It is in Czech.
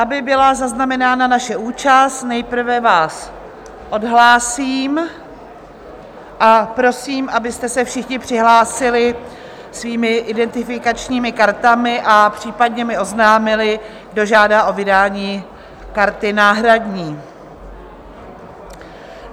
Aby byla zaznamenána naše účast, nejprve vás odhlásím a prosím, abyste se všichni přihlásili svými identifikačními kartami a případně mi oznámili, kdo žádá o vydání karty náhradní.